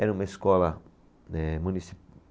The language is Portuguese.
Era uma escola, né munici